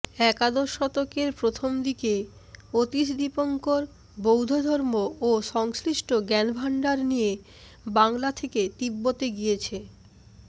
একাদশ শতকের প্রথমদিকে অতীশ দীপঙ্কর বৌদ্ধধর্ম ও সংশ্লিষ্ট জ্ঞানভাণ্ডার নিয়ে বাংলা থেকে তিব্বতে গিয়েছি